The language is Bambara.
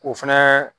O fɛnɛ